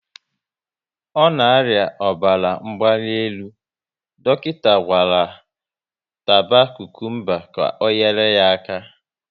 Ọ na aria ọbara mgbanelu, dọkịta gwara taba kukumba ka ọ nyere ya aka